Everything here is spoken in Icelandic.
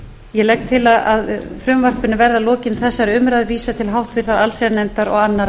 ég legg til að frumvarpinu verði að lokinni þessari umræðu vísað til háttvirtrar allsherjarnefndar og annarrar umræðu